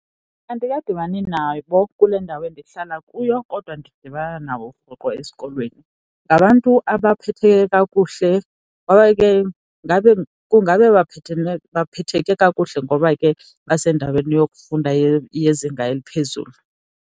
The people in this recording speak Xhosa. Andikadibani nabo kule ndawo endihlala kuyo kodwa ndidibana nabo rhoqo esikolweni, ngabantu abaphetheke kakuhle ngoba ke kungabe baphetheke kakuhle ngoba ke basendaweni yokufunda yezinga eliphezulu.